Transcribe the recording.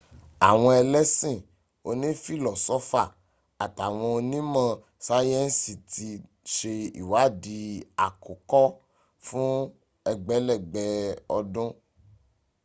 àwọn ẹlẹ́sìn oní fìlọ́sọ́fà àtàwọn ọnímọ̀ sáyẹ̀nsìti ń se ìwáàdí àkókò fún ẹgbẹ̀lẹ́gbẹ̀ ọdún